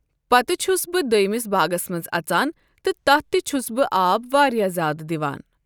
پَتہٕ چھُس بہٕ دوٚیِٚمِس باغَس منٛز اَژان تہِ تَتھ تہِ چھُس بہٕ آب واریاہ زیادٕ دِوان۔